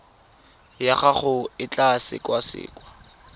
ya gago e tla sekasekwa